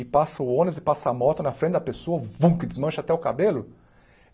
E passa o ônibus e passa a moto na frente da pessoa, vum que desmancha até o cabelo.